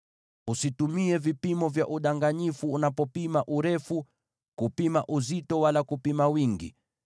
“ ‘Usitumie vipimo vya udanganyifu unapopima urefu, kupima uzito, wala kupima wingi.